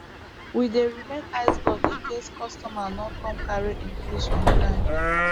we dey remain iceblock in case customer no come carry im fish on time